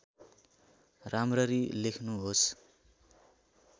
राम्ररी लेख्नुहोस्